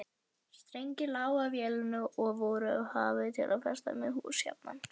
Strengir lágu á vellinum og voru hafðir til að festa með hús jafnan.